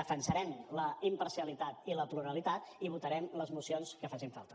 defensarem la imparcialitat i la pluralitat i votarem les mocions que facin falta